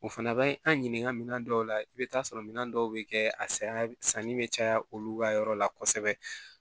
O fana bɛ an ɲininka minɛn dɔw la i bɛ taa sɔrɔ minɛn dɔw bɛ kɛ a saya sanni bɛ caya olu ka yɔrɔ la kosɛbɛ